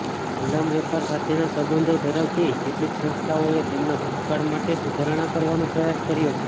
ગુલામ વેપાર સાથેના સંબંધો ધરાવતી કેટલીક સંસ્થાઓએ તેમના ભૂતકાળ માટે સુધારણા કરવાનો પ્રયાસ કર્યો છે